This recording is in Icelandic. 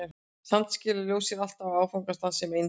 Samt skilar ljós sér alltaf á áfangastað sem eindir.